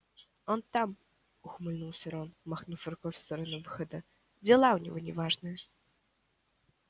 он там ухмыльнулся рон махнув рукой в сторону выхода дела у него неважные